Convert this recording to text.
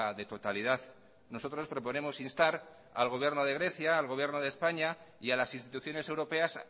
de totalidad nosotros proponemos instar el gobierno de grecia al gobierno de españa y a las instituciones europeas